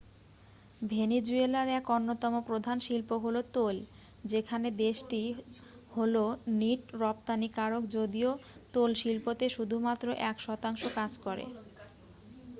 ভেনিজুয়েলার এক অন্যতম প্রধান শিল্প হল তৈল যেখানে দেশটি হল নিট রপ্তানিকারক যদিও তৈলশিল্পতে শুধুমাত্র এক শতাংশ কাজ করে